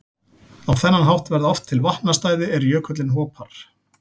Á þennan hátt verða oft til vatnastæði er jökullinn hopar.